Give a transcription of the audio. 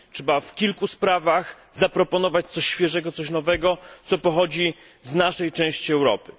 Trzeba w kilku sprawach zaproponować coś świeżego, coś nowego, co pochodzi z naszej części Europy.